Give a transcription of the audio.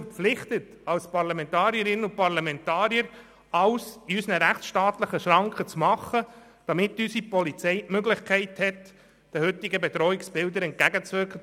Wir sind als Parlamentarierinnen und Parlamentarier verpflichtet, innerhalb der rechtsstaatlichen Schranken alles dafür zu tun, dass die Polizei die Möglichkeit hat, den heutigen Bedrohungsbildern entgegenzutreten.